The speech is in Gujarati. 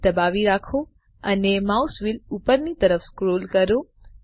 SHIFT દબાવી રાખો અને માઉસ વ્હીલ ઉપરની તરફ સ્ક્રોલ કરો